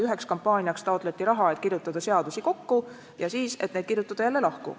Üheks kampaaniaks taotleti raha, et kirjutada seadusi kokku, ja siis, et neid kirjutada jälle lahku.